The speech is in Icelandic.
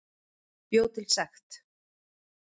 Bjó til sekt